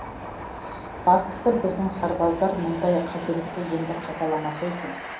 бастысы біздің сарбаздар мұндай қателікті енді қайталамаса екен